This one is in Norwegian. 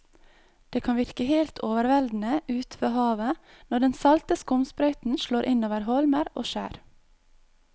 Det kan virke helt overveldende ute ved havet når den salte skumsprøyten slår innover holmer og skjær.